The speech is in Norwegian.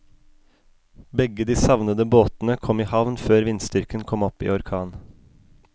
Begge de savnede båtene kom i havn før vindstyrken kom opp i orkan.